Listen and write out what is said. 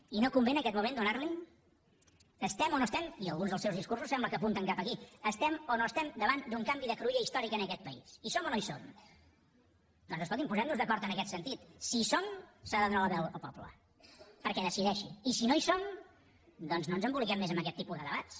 i no convé en aquest moment donar la hi estem o no estem i alguns dels seus discursos sembla que apunten cap aquí hi estem o no hi estem davant d’un canvi de cruïlla històrica en aquest país hi som o no hi som doncs escolti’m posem nos d’acord en aquest sentit si hi som s’ha de donar la veu al poble perquè decideixi i si no hi som doncs no ens emboliquem més amb aquest tipus de debats